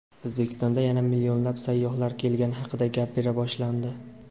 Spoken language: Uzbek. O‘zbekistonda yana "millionlab sayyohlar" kelgani haqida gapira boshlandi.